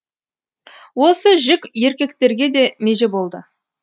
осы жік еркектерге де меже болды